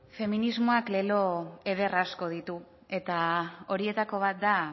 feminismoak lelo eder asko ditu eta horietako bat da